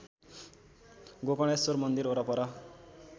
गोकर्णेश्वर मन्दिर वरपर